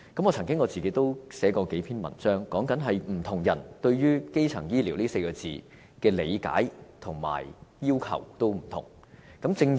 我曾經撰寫數篇文章，分析不同人對於"基層醫療"這4個字的理解和要求，也有所不同。